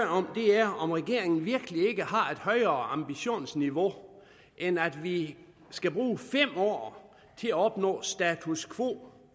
om er om regeringen virkelig ikke har et højere ambitionsniveau end at vi skal bruge fem år til at opnå status quo